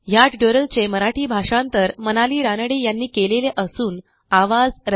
ह्या ट्युटोरियलचे मराठी भाषांतर मनाली रानडे यांनी केलेले असून आवाज